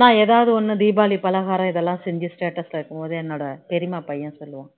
நான் ஏதாவது ஒண்ணு தீபாவளி பலகாரம்லாம் இதெல்லாம் செஞ்சி status ல வைக்கும் போது என்னோட பெரியம்மா பையன் சொல்லுவான்